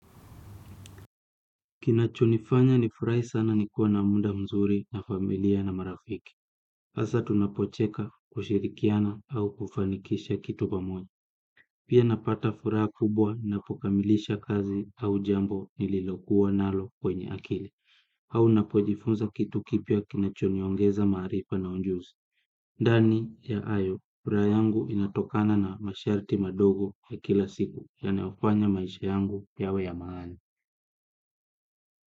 Kinachonifanya nifurahi sana nikuwe na muda mzuri na familia na marafiki. Hasa tunapocheka kushirikiana au kufanikisha kitu pamoja. Pia napata furaha kubwa, ninapokamilisha kazi au jambo nililokuwa nalo kwenye akili. Au napojifunza kitu kipya kinachoniongeza maarifa na ujuzi. Ndani ya hayo, furaha yangu inatokana na masharti madogo ya kila siku ya nayofanya maisha yangu yawe ya maana.